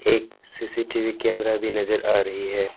एक CCTV camera भी नजर आ रही है।